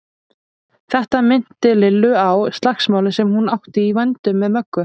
Þetta minnti Lillu á slagsmálin sem hún átti í vændum með Möggu.